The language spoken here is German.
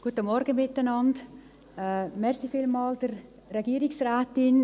Vielen Dank der Frau Regierungsrätin.